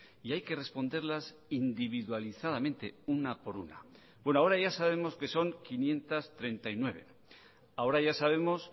y hay que responderlas individualizadamente una por una bueno ahora ya sabemos que son quinientos treinta y nueve ahora ya sabemos